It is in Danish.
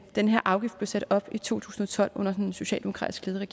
den her afgift blev sat op i to tusind og tolv under den socialdemokratisk ledede